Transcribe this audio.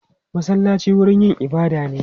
Masallaci wurin yin ibada ne.